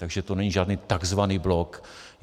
Takže to není žádný takzvaný bok.